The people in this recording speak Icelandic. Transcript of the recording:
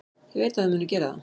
Ég veit að þau munu gera það.